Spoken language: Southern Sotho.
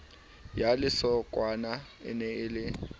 ya lesokwana e ne e